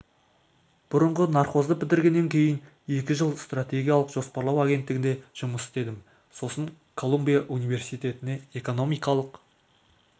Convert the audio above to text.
бұрынғы нархозды бітіргеннен кейін екі жыл стратегиялық жоспарлау агенттігінде жұмыс істедім сосын колумбия университетіне экономикалық